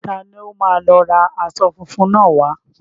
Ta ni ó máa lọ ra aṣọ fúnfun náà wá.